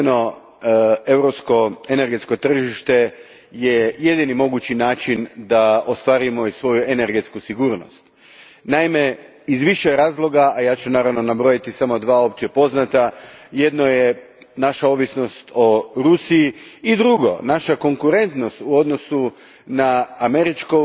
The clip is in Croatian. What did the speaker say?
Gospođo predsjedavajuća, jedinstveno europsko energetsko tržište je jedini mogući način da ostvarimo svoju energetsku sigurnost. Naime, iz više razloga, a ja ću naravno nabrojiti samo dva općepoznata, jedno je naša ovisnost o Rusiji i drugo naša konkuretnost u odnosu na američke